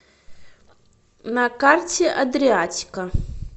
на карте адриатика